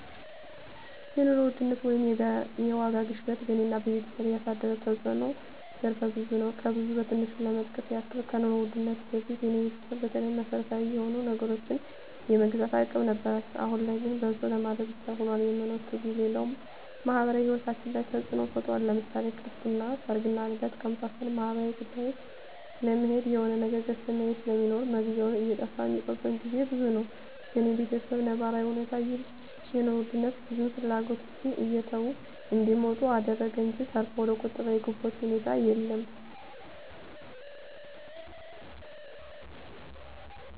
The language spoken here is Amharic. የኑሮ ውድነት ወይም የዋጋ ግሽበት በኔና በቤተሰቤ ያሳደረው ተጽኖ ዘርፈ ብዙ ነው። ከብዙ በትንሹ ለመጥቀስ ያክል ከኑሮ ውድነቱ በፊት የኔ ቤተሰብ በተለይ መሰረታዊ የሆኑ ነገሮችን የመግዛት አቅም ነበራቸው አሁን ላይ ግን በልቶ ለማደር ብቻ ሁኗል የመኖር ትግሉ፣ ሌላው ማህበራዊ ሂወታችን ላይ ተጽኖ ፈጥሯል ለምሳሌ ክርስትና፣ ሰርግና ልደት ከመሳሰሉት ማህበራዊ ጉዳዮች ለመሄድ የሆነ ነገር ገዝተህ መሄድ ስለሚኖር መግዣው እየጠፋ ሚቀሩበት ግዜ ብዙ ነው። በኔ በተሰብ ነባራዊ እውነታ ይህ የኑሮ ውድነት ብዙ ፍላጎቶችን እየተው እንዲመጡ አደረገ እንጅ ተርፎ ወደቁጠባ የገቡበት ሁኔታ የለም።